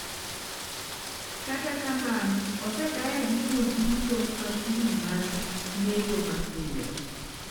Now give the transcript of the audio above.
Kata kamano, osekaya gi thuol duto ma kwiri margi neko mapiyo."